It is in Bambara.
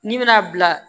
N'i bɛna bila